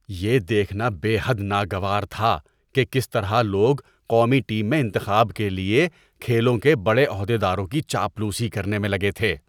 یہ دیکھنا بے حد ناگوار تھا کہ کس طرح لوگ قومی ٹیم میں انتخاب کے لیے کھیلوں کے بڑے عہدیداروں کی چاپلوسی کرنے میں لگے تھے۔